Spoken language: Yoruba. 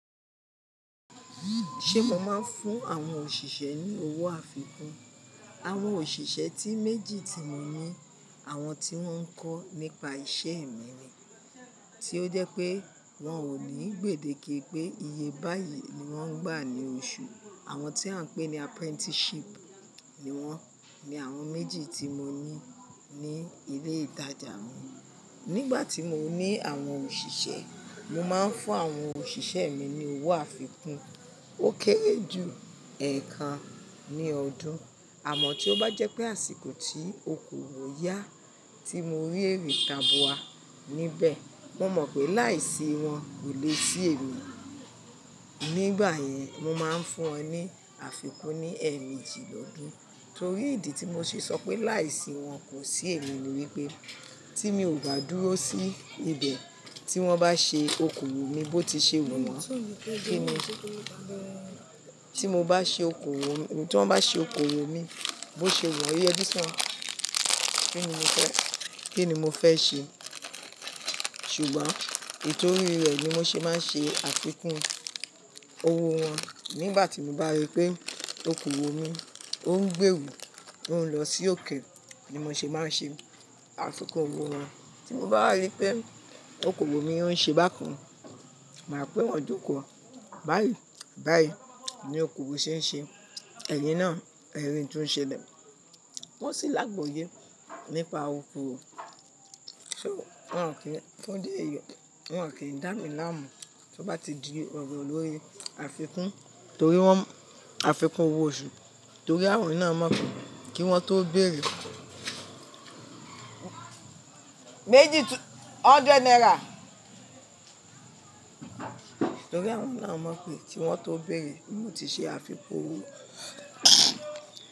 Ṣe mo máa ń fún àwọn òṣìṣẹ́ ní owó àfikún? Àwọn òṣìṣẹ́ tí méjì tí mo ní àwọn tí wọ́n ń kọ́ nípa iṣẹ́ ẹ̀mí ni, tí ó jẹ́ pé wọn ò ní gbèdé kí pé iye báyìí ni wọ́n ń gbà ní oṣù. Àwọn tí à ń pè ní apprenticeship ni wọ́n. Ni àwọn méjì tí mo ní ní ilé ìtajà mi. Nígbà tí mo ní àwọn òṣìṣẹ́, mo máa ń fún àwọn òṣìṣẹ́ mi ní owó àfikún. Ó kéré jù ẹ̀ẹ̀kan ní ọdún. Àmọ́ tí ó bá jẹ́ pé àsìkò tí okòwò yá tí mo rí ẹ̀ré ta bu wa níbẹ̀, mo mọ̀ pé láìsí wọn kò le sí èmi. Nígbà yẹn, mo máa ń fún wọn ní àfikún ní ẹ̀ẹ̀méjì lọ́dún. Torí ìdí tí mo ṣe sọ pé láìsí wọn kò sí èmi ni wípé tí mi ò bá dúró sí ibẹ̀ tí wọ́n bá ṣe okòwò mi bó ti ṣe wù wọ́n, kí ni, tí mo bá ṣe okòwò, tí wọ́n bá ṣe okòwò mi bó ṣe wù wọ́n Kí ni mo fẹ́, kí ni mo fẹ́ ṣe? Ṣùgbọ́n ètò orí rẹ̀ ni mo ṣe máa ń ṣe àfikún owó wọn. Nígbà tí mo bá rí pé okòwò mi ó ń gbé wù, ó ń lọ sí òkè ni mo ṣe máa ń ṣe àfikún owó wọn. Tí mo bá rí pé okòwò mi ó ń ṣe bákan, màá pè wọ́n jókòó, báyìí, báyìí ni okòwò ṣe ń ṣe, ẹ̀yìn náà, ẹri n tó ń ṣe lẹ. Wọ́n sì lágbòye nípa okòwò. Ṣo wọ́n kì í, fún idí èyi, wọ́n ò kí ń dá mi láàmú tí ó bá ti di ọ̀ro lórí àfikún torí wọ́n, àfikún owó oṣù torí àwọn náà mọ̀ pé kí wọ́n tó bèrè. Méjì, hundred naira. Torí àwọn náà mọ̀ pé ki wọ́n tó bèrè mo ti ṣe àfikún owó.